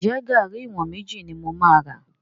Ǹjẹ́ garri ìwọ̀n méjì ni mo máa rà?